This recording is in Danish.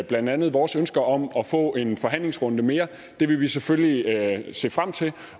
blandt andet vores ønske om at få en forhandlingsrunde mere det vil vi selvfølgelig se frem til